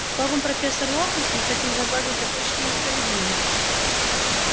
словом профессор локонс мы хотим загладить допущенную несправедливость